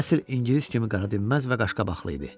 Əsl ingilis kimi qara dinməz və qaşqabaqlı idi.